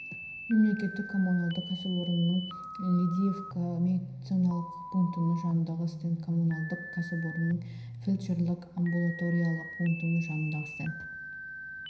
мемлекеттік коммуналдық кәсіпорынның лидиевка медициналық пунктінің жанындағы стенд коммуналдық кәсіпорынның фельдшерлік-амбулаториялық пунктінің жанындағы стенд